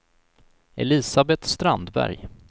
Elisabeth Strandberg